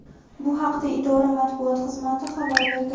Bu haqda idora Matbuot xizmati xabar berdi.